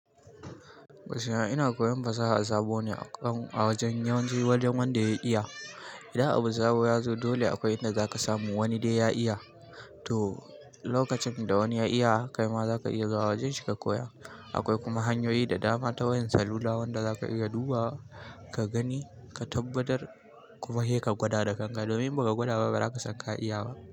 Gaskiya ina koyon fasaha a sabuwa ne a wajen yawanci wajen wanda ya iya. Idan abu sabo ya zo dole akwai inda zaka samu wani dai ya iya, to lokacin da wani ya iya kai ma zaka iya zuwa wajen shi ka koya. Akwai kuma hanyoyi da dama ta wayar salula wanda zaka iya dubawa ka gani ka tabbatar kuma sai ka gwada da kanka. Domin in baka gwada ba ba za ka san ka iya ba.